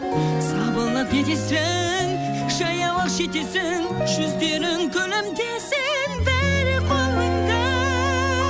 сабылып не етесің жаяу ақ жетесің жүздерің күлімдесін бәрі қолыңда